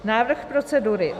Návrh procedury.